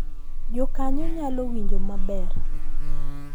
Jokanyo nyalo winjo maber